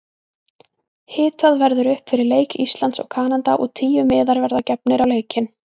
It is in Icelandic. Hitað verður upp fyrir leik Íslands og Kanada og tíu miðar verða gefnir á leikinn.